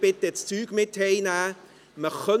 Bitte nehmen Sie Ihre Sachen mit nach Hause.